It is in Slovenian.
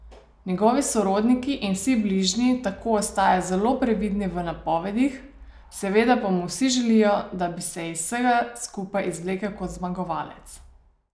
Njegovi sorodniki in vsi bližnji tako ostajajo zelo previdni v napovedih, seveda pa mu vsi želijo, da bi se iz vsega skupaj izvlekel kot zmagovalec.